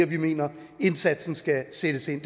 vi mener indsatsen skal sættes ind